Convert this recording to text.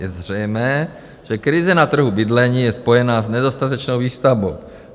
Je zřejmé, že krize na trhu bydlení je spojená s nedostatečnou výstavbou.